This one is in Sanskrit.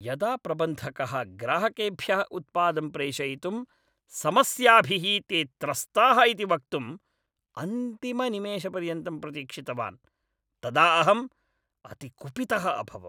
यदा प्रबन्धकः ग्राहकेभ्यः उत्पादं प्रेषयितुं समस्याभिः ते त्रस्ताः इति वक्तुं अन्तिमनिमेषपर्यन्तं प्रतीक्षितवान् तदा अहं अति कुपितः अभवम्।